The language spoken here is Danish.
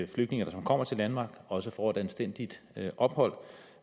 flygtninge som kommer til danmark også får et anstændigt ophold